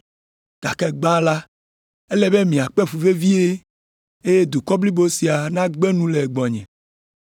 Gake gbã la, ele be makpe fu vevie, eye dukɔ blibo sia nagbe nu le gbɔnye.